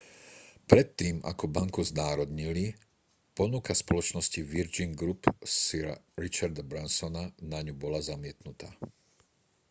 predtým ako banku znárodnili ponuka spoločnosti virgin group sira richarda bransona na ňu bola zamietnutá